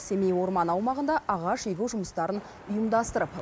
семей орманы аумағында ағаш егу жұмыстарын ұйымдастырып